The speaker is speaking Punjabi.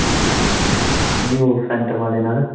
ਨਹੀਂ ਉਹ ਸੈਂਟਮ ਵਾਲੇ ਨਾਲ।